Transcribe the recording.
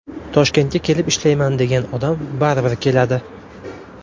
Toshkentga kelib ishlayman degan odam baribir keladi.